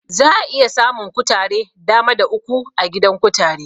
Za'a iya samun kutare Dama da uku a gidan kutare